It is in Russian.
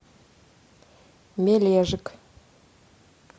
мележик